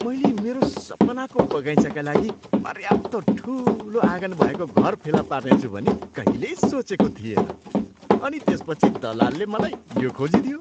मैले मेरो सपनाको बगैँचाका लागि पर्याप्त ठुलो आँगन भएको घर फेला पार्नेछु भनी कहिल्यै सोचेको थिएन , अनि त्यसपछि दलालले मलाई यो खोजिदियो!